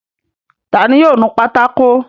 Ta ni yóò nu pátákó?